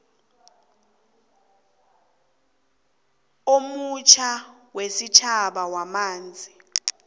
omutjha wesitjhaba wamanzi